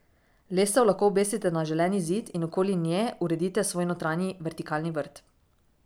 Lestev lahko obesite na želeni zid in okoli nje uredite svoj notranji vertikalni vrt.